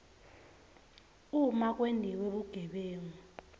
uma kwentiwe bugebengu